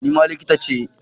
Ni ma likita ce.